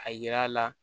A yira la